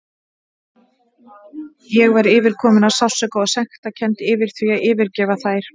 Ég var yfirkomin af sársauka og sektarkennd yfir því að yfirgefa þær.